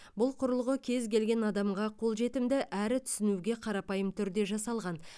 бұл құрылғы кез келген адамға қолжетімді әрі түсінуге қарапайым түрде жасалған